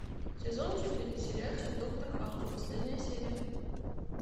сезон четыре сериальчик доктор хаус последняя серия